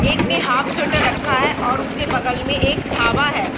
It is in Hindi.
एक ने हाफ स्वेटर रखा है और उसके बगल में एक ढाबा है।